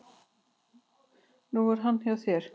Nú er hann hjá þér.